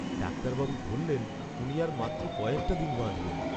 ডাক্তারবাবু বললেন উনি আর মাত্র কয়েকটা দিন বাঁচবেন।